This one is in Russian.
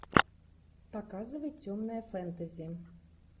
показывай темное фэнтези